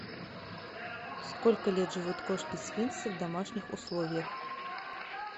сколько лет живут кошки сфинксы в домашних условиях